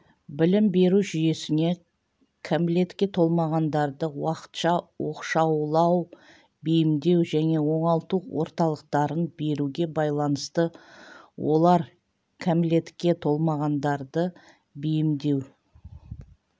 білім беру жүйесіне кәмелетке толмағандарды уақытша оқшаулау бейімдеу және оңалту орталықтарын беруге байланысты олар кәмелетке толмағандарды бейімдеу